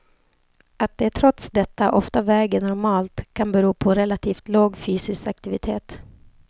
Att de trots detta ofta väger normalt kan bero på relativt låg fysisk aktivitet.